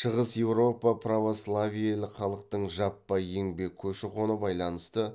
шығыс еуропа православиелік халықтың жаппай еңбек көші қоны байланысты